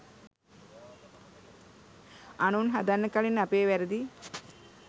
අනුන් හදන්න කලින් අපේ වැරදි